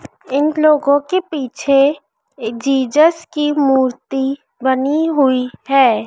इन लोगों के पीछे एक जिजस की मूर्ति बनी हुई है।